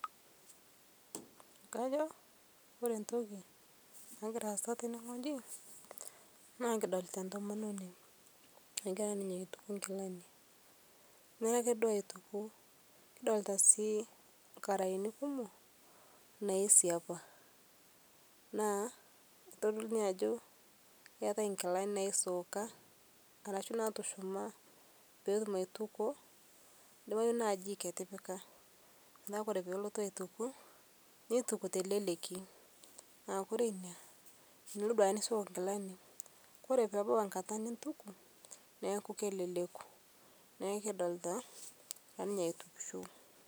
Kajo ore entoki nagira asaa tenewueji nikidolita entomononi nagira aituku enkilani neme ake duo aituku kidolita sii nkaraeni kumok naisiapa naa kitodolu Ajo keeta enkilani naisooka ashu natushuma petum aitukuo ebaiki naa jik etipika neeku ore pee elotu aituku nintuku tee leleki naa ore ena enoshi naisooka enkilani ore pebau enkata nisuj naa keleleku naaa ekidolita naa egira ninye aitukisho